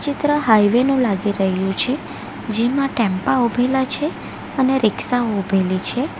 ત્ર હાઇવે નું લાગી રહ્યું છે જેમાં ટેમ્પા ઉભેલા છે અને રીક્ષા ઉભેલી છે.